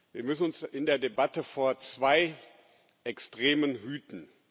Wir müssen uns in der Debatte vor zwei Extremen hüten.